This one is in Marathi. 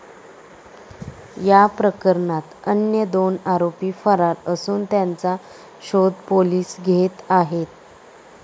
या प्रकरणात अन्य दोन आरोपी फरार असून त्यांचा शोध पोलीस घेत आहेत.